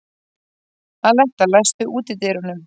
Aletta, læstu útidyrunum.